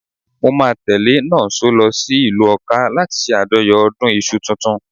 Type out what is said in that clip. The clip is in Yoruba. Mo máa tẹ́lẹ̀ Nonso lọ sí ìlú Ọká láti ṣe àjọyọ̀ ọdún iṣu tuntun.